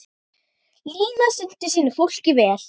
Lína sinnti sínu fólki vel.